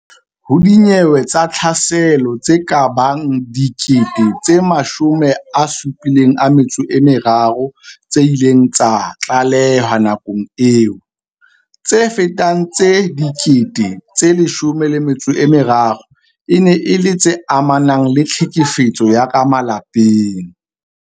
Ho dinyewe tsa tlhaselo tse kabang 73 000 tse ileng tsa tlalehwa nakong eo, tse fetang 13000 e ne e le tse amanang le tlhekefetso ya ka malapeng.